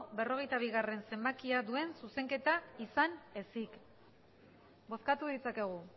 berrogeita bigarrena zenbakia duen zuzenketa izan ezik bozkatu ditzakegu